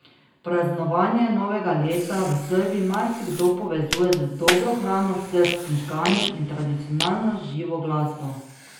Praznovanje novega leta v Srbiji marsikdo povezuje z dobro hrano, srbskim žganjem in tradicionalno živo glasbo.